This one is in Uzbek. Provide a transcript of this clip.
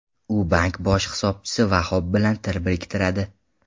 U bank bosh hisobchisi Vahob bilan til biriktiradi.